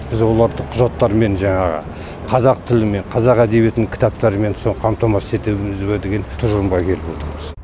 біз оларды құжаттармен жаңағы қазақ тілімен қазақ әдебиетінің кітаптарымен со қамтамасыз етеміз бе деген тұжырымға келіп отырмыз